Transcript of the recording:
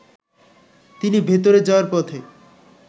তিনি ভেতরে যাওয়ার পথে